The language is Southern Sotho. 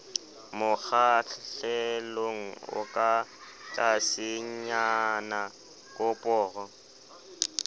mokgahlelong o ka tlasenyana koporo